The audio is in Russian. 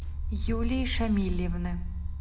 юлии шамилевны